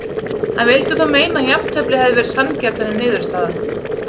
Hann vildi þó meina að jafntefli hefði verið sanngjarnari niðurstaða.